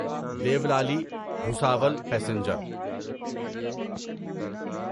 Deolali Bhusawal passenger